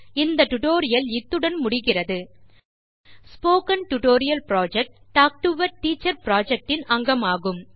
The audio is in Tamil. talk to a teacher project இன் அங்கமான ஸ்போக்கன் டியூட்டோரியல் புரொஜெக்ட் ஐ நான் நினைவு கூறுகிறேன்